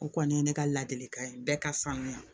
O kɔni ye ne ka ladili kan ye bɛɛ ka sanuya